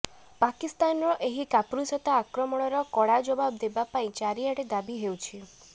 ପାକିସ୍ତାନର ଏହି କାପୁରୁଷତା ଆକ୍ରମଣର କଡ଼ା ଜବାବ ଦେବା ପାଇଁ ଚାରିଆଡ଼େ ଦାବି ହେଉଛି